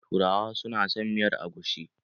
Turawa su na son miyar agushi.